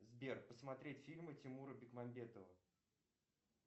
сбер посмотреть фильмы тимура бекмамбетова